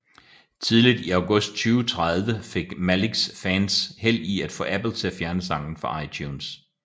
Tidligt i august 2013 fik Maliks fans held i at få Apple til at fjerne sangen fra iTunes